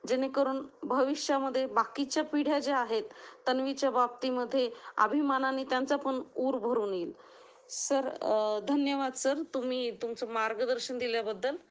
जेणेकरून भविष्यामध्ये बाकीच्या पिढ्या ज्या आहेत तन्वीच्या बाबतीमध्ये अभिमानाने त्यांचा पण ऊर भरून येईल. सर, धन्यवाद सर तुम्ही तुमचं मार्गदर्शन दिल्या बद्दल.